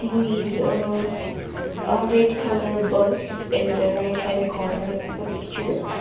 is a a red colour bus in the right hand corner of the picture.